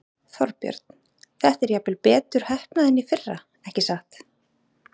Þorbjörn: Þetta er jafnvel betur heppnað en í fyrra, ekki satt?